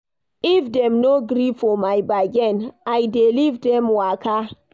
If dem no gree for my bargain, I dey leave dem waka.